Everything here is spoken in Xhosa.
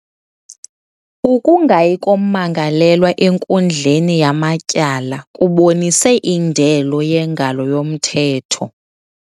Ukungayi kommangalelwa enkundleni yamatyala kubonise indelo yengalo yomthetho.